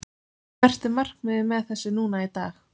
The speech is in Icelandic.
Hvert er markmiðið með þessu núna í dag?